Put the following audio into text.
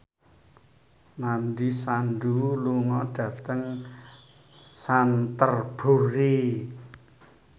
Nandish Sandhu lunga dhateng Canterbury